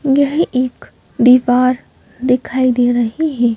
यह एक दीवार दिखाई दे रही है।